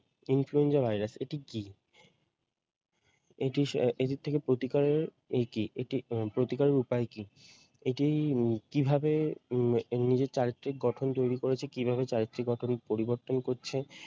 influenza virus এটি কি এটি আহ এটি থেকে প্রতিকারের এই কি এটি উম প্রতিকারের উপায় কি? এটি উম কিভাবে উম নিজের চারিত্রিক গঠন তৈরী করেছে কিভাবে চারিত্রিক গঠন পরিবর্তন করছে,